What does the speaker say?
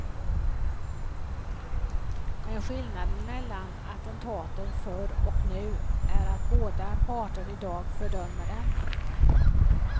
Men skillnaden mellan attentaten förr och nu är att båda parter idag fördömer dem.